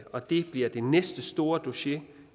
og det bliver det næste store dossier